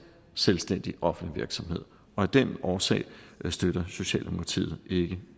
selvstændig offentlig virksomhed og af den årsag støtter socialdemokratiet ikke